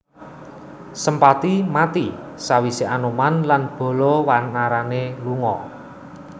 Sempati mati sawise Anoman lan bala wanarané lunga